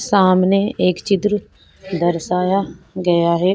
सामने एक चित्र दर्शाया गया है।